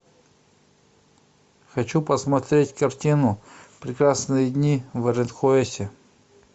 хочу посмотреть картину прекрасные дни в аранхуэсе